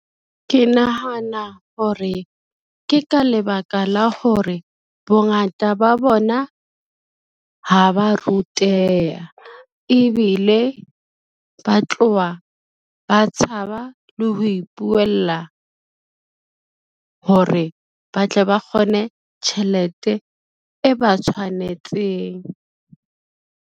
Ke nahana hore, ke ka lebaka la hore bongata ba bona ha ba ruteha, ebile ba tlowa ba tshaba le ho ipuela, hore ba tle ba kgone tjhelete e ba tshwanetseng.